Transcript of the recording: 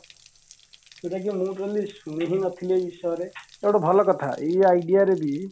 ଯୋଉଟା କି ମୁଁ ବି ଶୁଣି ନଥିଲି ଏଇ ବିଷୟରେ ଏଇଟା ଗୋଟେ ଭଲ କଥା ଏଇ idea ରେ ବି